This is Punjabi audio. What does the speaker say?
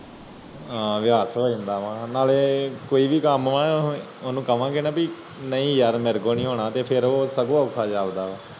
ਅਭਿਆਸ ਹੋ ਜਾਂਦਾ ਵ ਨਾਲੇ ਕੋਈ ਵੀ ਕਾਮ ਆ ਓਹਨੂੰ ਕਵਾਂਗੇ ਭੀ ਨਹੀਂ ਯਾਰ ਮੇਰੇ ਕੋਲੋਂ ਨੀ ਹੋਣਾ ਫਿਰ ਉਹ ਤਾਹਿ ਔਖਾ ਜਾਪਦਾ ਵ